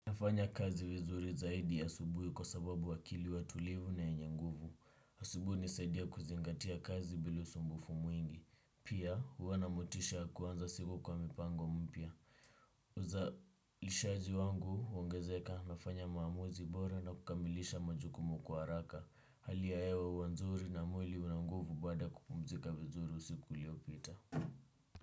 Nafanya kazi vizuri zaidi asubuhi kwa sababu akili huwa tulivu na yenye nguvu. Asubuhi hunisaidia kuzingatia kazi bila usumbufu mwingi. Pia, huwa na motisha ya kuanza siku kwa mipango mpya. Uzalishaji wangu, huongezeka, nafanya maamuzi bora na kukamilisha majukumu kwa haraka. Hali ya hewa huwa nzuri na mwili una nguvu baada ya kupumzika vizuri usiku uliopita.